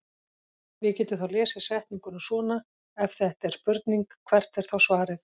Við getum þá lesið setninguna svona: Ef þetta er spurning hvert er þá svarið?